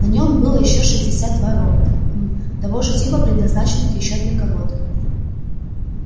на нём было ещё шестьдесят два робота хм того же типа предназначенных ещё для кого-то